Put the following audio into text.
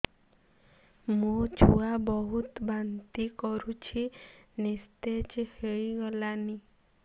ମୋ ଛୁଆ ବହୁତ୍ ବାନ୍ତି କରୁଛି ନିସ୍ତେଜ ହେଇ ଗଲାନି